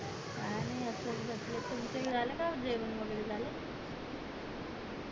काय नाय असच बसले तुमचं झालं का जेवण वैगेरे झालं